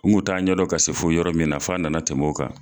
N kun t'a ɲɛdɔn ka se fo yɔrɔ min na fo a na na tɛmɛ o kan.